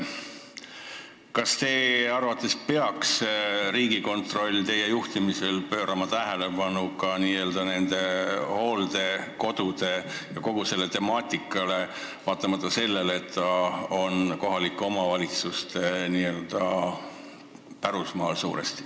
Kas teie arvates peaks Riigikontroll teie juhtimisel pöörama tähelepanu ka hooldekodudele ja kogu sellele temaatikale, vaatamata sellele, et see on suuresti kohaliku omavalitsuse pärusmaa?